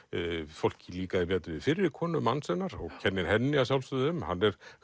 fólki líkaði betur við fyrri konu manns hennar kennir henni að sjálfsögðu um